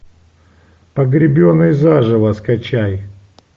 погребенные заживо скачай